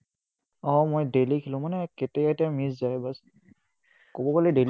উম মই daily খেলো মানে কেতিয়াবা কেতিয়াবা miss যায় বচ্। ক'ব গ'লে daily